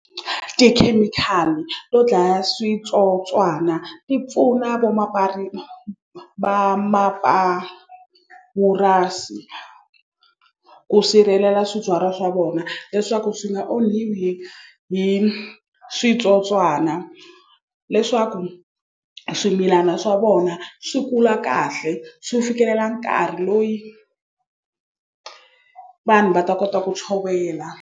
Tikhemikhali to dlaya switsotswana ti pfuna va mapurasi ku sirhelela swibyariwa swa vona leswaku swi nga onhiwi hi hi switsotswana leswaku swimilana swa vona swi kula kahle swi fikelela nkarhi loyi vanhu va ta kota ku tshovela.